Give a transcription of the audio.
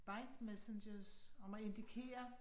Bike messengers om at indikere